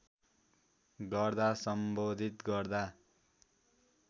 गर्दा सम्बोधित गर्दा